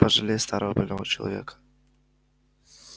пожалей старого больного человека